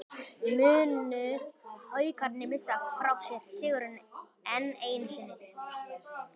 Munu Haukarnir missa frá sér sigurinn, enn einu sinni???